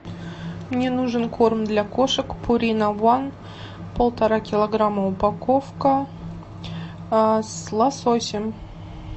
мне нужен корм для кошек пурина ван полтора килограмма упаковка с лососем